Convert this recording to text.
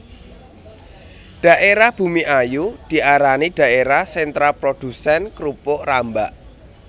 Dhaérah Bumiayu diarani dhaérah sentra produsén krupuk rambak